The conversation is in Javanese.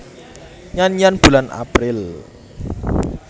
Nyanyian Bulan April